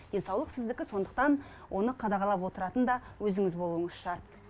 денсаулық сіздікі сондықтан оны қадағалап отыратын да өзіңіз болуыңыз шарт